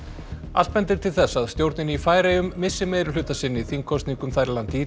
allt bendir til þess að stjórnin í Færeyjum missi meirihluta sinn í þingkosningum þar í landi í